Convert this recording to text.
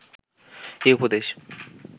এ উপদেশ